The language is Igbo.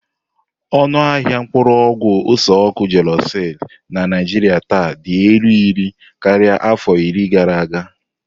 Ọnụ ahịa mkpuru ogwu ose-oku Gelusil na Naijiria taa dị elu iri karịa afọ iri gara aga.